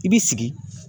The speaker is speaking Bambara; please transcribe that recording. I b'i sigi